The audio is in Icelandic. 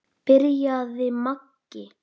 byrjaði Maggi.